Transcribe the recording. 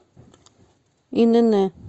инн